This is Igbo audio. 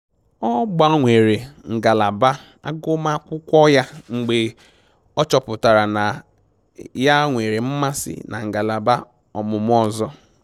Ọ gbanwere ngalaba agụmakwụkwọ ya mgbe ọ chọpụtara na ya nwere mmasị na ngalaba omụmụ ọzọ